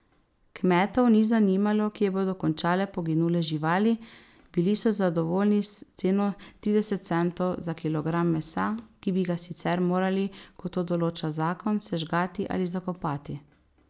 Kmetov ni zanimalo, kje bodo končale poginule živali, bili so zadovoljni s ceno trideset centov za kilogram mesa, ki bi ga sicer morali, kot to določa zakon, sežgati ali zakopati.